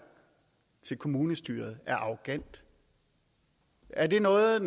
til kommunestyret er arrogant er det noget